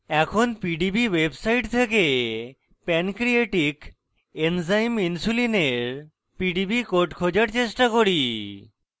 এখন pdb website থেকে pancreatic enzyme insulin এর pdb code খোঁজার চেষ্টা করি